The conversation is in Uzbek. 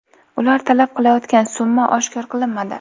Ular talab qilayotgan summa oshkor qilinmadi.